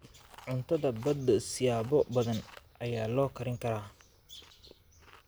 Cuntada badda siyaabo badan ayaa loo karin karaa.